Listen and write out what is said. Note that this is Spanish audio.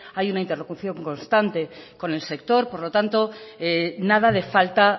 hay una interlocución constante con el sector por lo tanto nada de falta